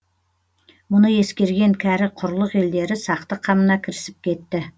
мұны ескерген кәрі құрлық елдері сақтық қамына кірісіп кетті